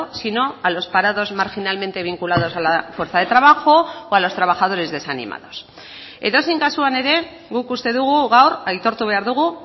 sino a los parados marginalmente vinculados a la fuerza de trabajo o a los trabajadores desanimados edozein kasuan ere guk uste dugu gaur aitortu behar dugu